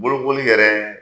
Bolokoli yɛrɛɛ